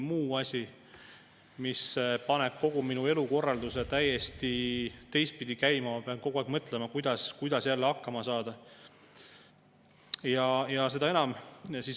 Nagu ma olen ka varem öelnud, siis ma alati küsin inimeste käest, mis on see põhjus, miks nad kaaluvad või miks nad on sättimas oma elu kuskile mujale, miks nad teevad nii kardinaalse otsuse, et müüvad siin maha oma vara, oma töökohast ja lähevad oma perega teise, täiesti võõrasse riiki.